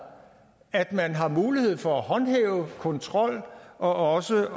at man har mulighed for at håndhæve kontrol og også